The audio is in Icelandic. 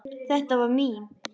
Þetta var mín.